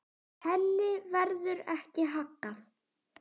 Henni verður ekki haggað.